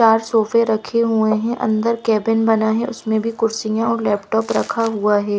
चार सोफे रखे हुए हैं अंदर कैबिन बना है उसमें भी कुर्सियां और लैपटॉप रखा हुआ है--